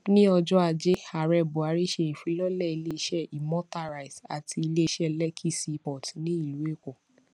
ní ọjọ ajé ààrẹ buhari ṣe ìfilọlẹ ilé iṣẹ imota rice àti ilé iṣẹ lekki seaport ní ìlú èkó